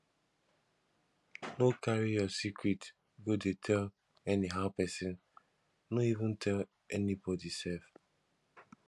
no carry your secret go dey tell anyhow pesin no even tell anybody sef